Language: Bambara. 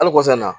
Hali kɔsan in na